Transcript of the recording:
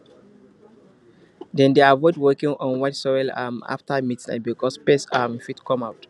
dem dey avoid walking on wet soil um after midnight because pests um fit come out